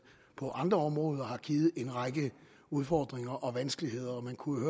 på andre områder har givet en række udfordringer og vanskeligheder vi kunne